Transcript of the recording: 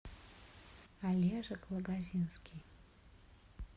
олежек лагозинский